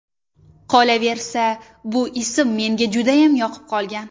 Qolaversa, bu ism menga judayam yoqib qolgan.